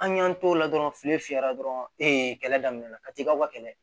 An y'an t'o la dɔrɔn fili fiyɛra dɔrɔn ee kɛlɛ daminɛ la ka t'i ka wa kɛlɛ